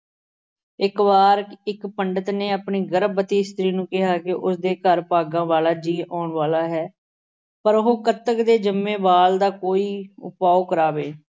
ਇੱਕ ਵਾਰ ਇੱਕ ਪੰਡਿਤ ਨੇ ਇੱਕ ਗਰਭਵਤੀ ਇਸਤਰੀ ਨੂੰ ਕਿਹਾ ਕਿ ਉਸ ਦੇ ਘਰ ਭਾਗਾਂ ਵਾਲਾ ਜੀਅ ਆਉਣ ਵਾਲਾ ਹੈ। ਪਰ ਉਹ ਕੱਤਕ ਦੇ ਜੰਮੇ ਬਾਲ ਦਾ ਕੋਈ ਉਪਾਅ ਕਰਾਵੇ।